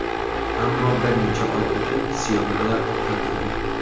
Ammo bir necha oy o‘tib syomkalar to‘xtatildi.